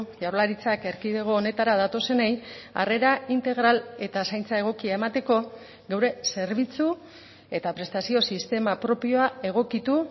jaurlaritzak erkidego honetara datozenei harrera integral eta zaintza egokia emateko geure zerbitzu eta prestazio sistema propioa egokitu